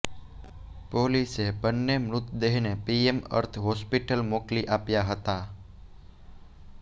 પોલીસે બન્ને મૃતદેહને પીએમ અર્થે હોસ્પિટલ મોકલી આપ્યા હતા